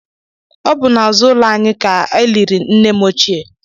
Ọ bụ n'azụ ụlọ anyị ka e liri nne m ochie